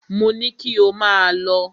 Mo ní kí ò máà lọ!